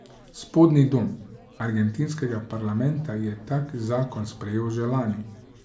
Spodnji dom argentinskega parlamenta je tak zakon sprejel že lani.